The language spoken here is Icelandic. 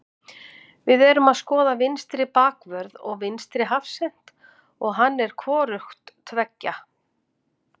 Við erum að skoða vinstri bakvörð og vinstri hafsent og hann er hvorugt tveggja.